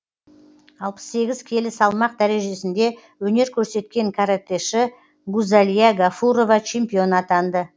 алпыс сегіз келі салмақ дәрежесінде өнер көрсеткен каратэші гузалия ғафурова чемпион атанды